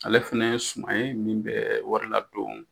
Ale fana ye suma ye min bɛ wari ladon